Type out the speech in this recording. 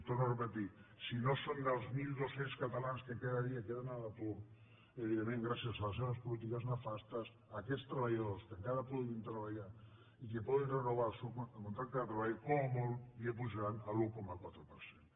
ho torno a dir si no són dels mil dos cents catalans que cada dia es queden a l’atur evidentment gràcies a les seves polítiques nefastes a aquests treballadors que encara poden treballar i que poden renovar el seu contracte de treball com a molt els apujaran l’un coma quatre per cent